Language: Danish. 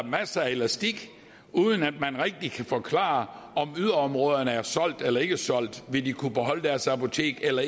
masser af elastik uden at det rigtig kan forklares om yderområderne er solgt eller ikke solgt om vil kunne beholde deres apotek eller